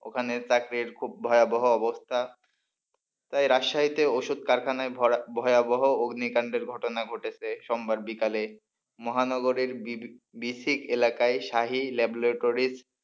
ওখানে চাকরির খুব ভয়াবহ অবস্থা তাই রাজশাহীতে ওষুধ কারখানায় ভয়াবহ অগ্নিকাণ্ডের ঘটনা ঘটেছে সোমবার বিকালে মহানগরের বিসিক এলাকায় শাহী ল্যাবরেটরির,